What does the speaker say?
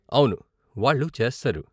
అవును, వాళ్ళు చేస్తారు.